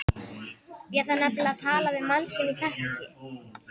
Ég þarf nefnilega að tala við mann sem ég þekki.